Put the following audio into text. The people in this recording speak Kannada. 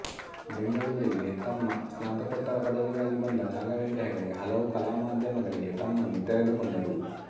ಬೆಂಗಳೂರಿಗೆ ತಮ್ಮ ಸ್ನಾತಕೋತ್ತರ ಪದವಿಗಾಗಿ ಬಂದ ರಾಘವೇಂದ್ರ ಹೆಗಡೆ ಹಲವು ಕಲಾಮಾದ್ಯಮಗಳಿಗೆ ತಮ್ಮನ್ನು ತೆರೆದುಕೊಂಡರು